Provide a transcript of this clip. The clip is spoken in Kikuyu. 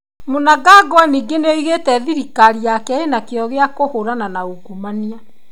Mnangagwa ningĩ nĩ augĩte thirikari yake ĩna kĩyo gĩa kũhũrana na ungumania.